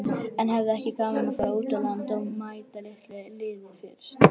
En hefði ekki verið gaman að fara út á land og mæta litlu liði fyrst?